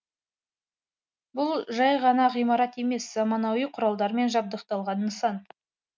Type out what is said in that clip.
бұл жай ғана ғимарат емес заманауи құралдармен жабдықталған нысан